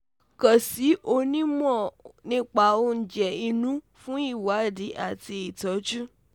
kàn sí onímọ̀ nípa oúnjẹ inú fún ìwádìí àti ìtọ́jú